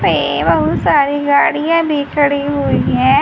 एवं सारी गाड़ियां भी खड़ी हुई है।